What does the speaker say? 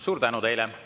Suur tänu teile!